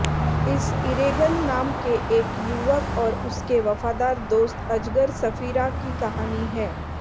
इस इरेगन नाम के एक युवक और उसके वफादार दोस्त अजगर सफीरा की कहानी है